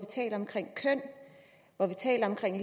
hvor vi taler om køn